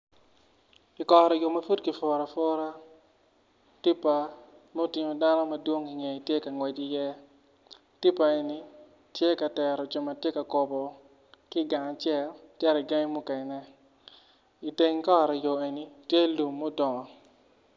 Kikoro yo ma pud kipuro apura tipa ma otingo dano madwong i ngeye tye ka ngwec iye tipa eni tye ka tero jo ma gitye ka kobo ki i gang acel cito i gangi mukene.